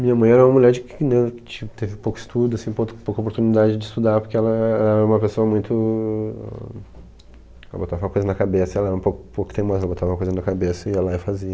Minha mãe era uma mulher que teve pouco estudo, pouco pouca oportunidade de estudar, porque ela era uma pessoa muito... Ela botava uma coisa na cabeça, ela era um pouco pouco teimosa, ela botava uma coisa na cabeça e ia lá e fazia.